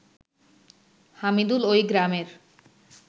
হামিদুল ওই গ্রামের